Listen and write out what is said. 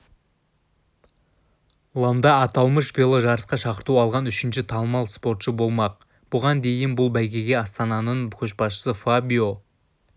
ланда аталмыш веложарысқа шақырту алған үшінші танымал спортшы болмақ бұған дейін бұл бәйгеге астананың көшбасшысы фабио